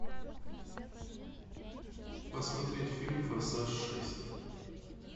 посмотреть фильм форсаж шесть